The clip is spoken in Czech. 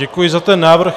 Děkuji za ten návrh.